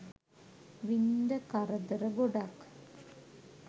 වින්ද කරදර ගොඩක්.